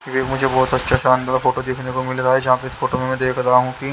ये मुझे बहोत अच्छा सा फोटो देखने को मिल रहा जहां पे फोटो में रहा हूं कि--